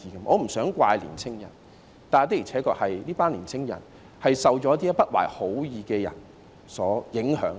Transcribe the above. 我不想責怪年青人，但這些年青人的確受到一些不懷好意的人所影響。